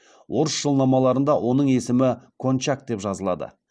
орыс жылнамаларында оның есімі кончак деп жазылады